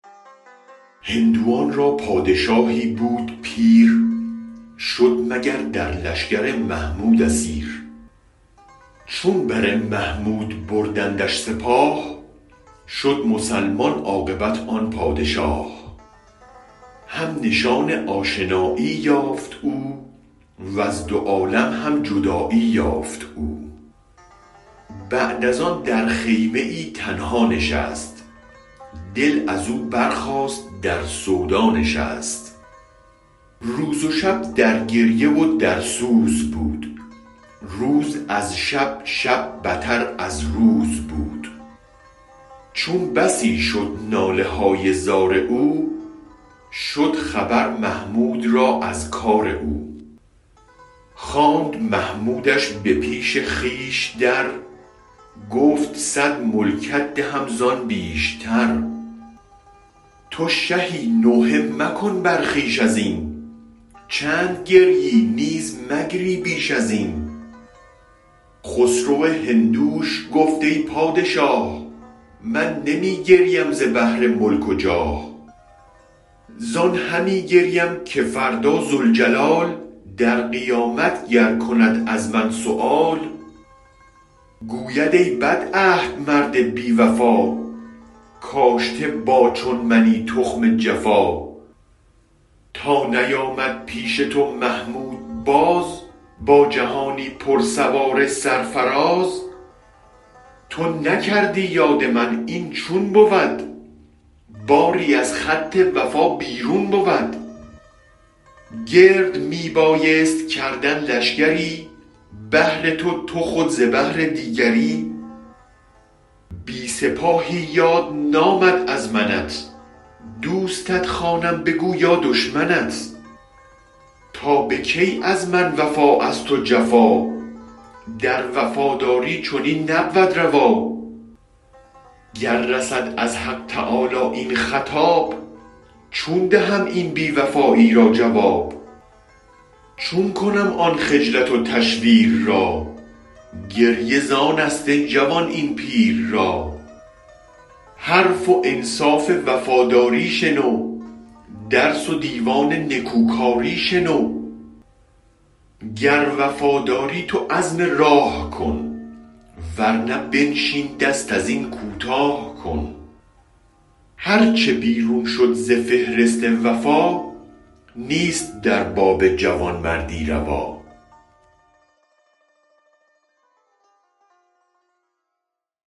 هندوان را پادشاهی بود پیر شد مگر در لشگر محمود اسیر چون بر محمود بردندش سپاه شد مسلمان عاقبت آن پادشاه هم نشان آشنایی یافت او وز دو عالم هم جدایی یافت او بعد از آن در خیمه تنها نشست دل ازو برخاست در سودا نشست روز و شب در گریه و در سوز بود روز از شب شب بتر از روز بود چون بسی شد نالهای زار او شد خبر محمود را از کار او خواند محمودش به پیش خویش در گفت صد ملکت دهم زان بیشتر تو شهی نوحه مکن بر خویش ازین چند گریی نیزمگری بیش ازین خسرو هندوش گفت ای پادشاه من نمی گریم ز بهر ملک و جاه زان همی گریم که فردا ذوالجلال در قیامت گر کند از من سؤال گوید ای بد عهد مرد بی وفا کاشته با چون منی تخم جفا تا نیامد پیش تو محمود باز با جهانی پر سوار سرفراز تو نکردی یاد من این چون بود باری از خط وفا بیرون بود گرد می بایست کردن لشگری بهر تو تو خود ز بهر دیگری بی سپاهی یاد نامد از منت دوستت خوانم بگو یادشمنت تا بکی از من وفا از تو جفا در وفاداری چنین نبود روا گر رسد از حق تعالی این خطاب چون دهم این بی وفایی راجواب چون کنم آن خجلت و تشویر را گریه زانست ای جوان این پیر را حرف و انصاف وفاداری شنو درس و دیوان نکوکاری شنو گر وفاداری تو عزم راه کن ورنه بنشین دست ازین کوتاه کن هرچ بیرون شد ز فهرست وفا نیست در باب جوان مردی روا